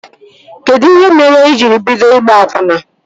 Kedụ ihe mere i jiri bido ịgba akwụna?